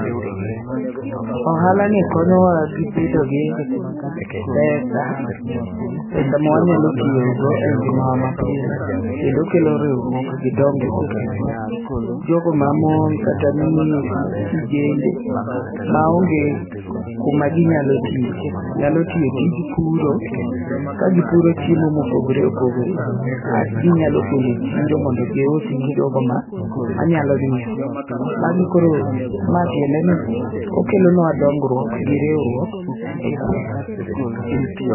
Ohala ni konyowa gi bedo gi pesa, pesa ma wanyalo tiyo go e ngima wa ma pile. Kendo kelo riwruok gi dongruok e gweng'. Jogo ma mon kata kijende ma onge kuma ginyalo tiye, nyalo tiyo tij puro ka gipuro chiemo mopogore opogre. As ginyalo kele chiro mondo gius ne jogo ma manyalo nyiewo. Magi koro ma tiende ni okelonwa dongruok gi riwruok e gweng'.